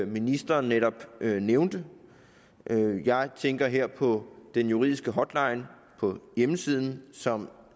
ministeren netop nævnte jeg tænker her på den juridiske hotline på hjemmesiden som